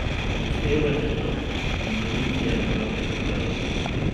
Upoštevajte to, intuicija ima vedno prav.